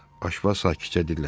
Aşpaz sakitcə dilləndi.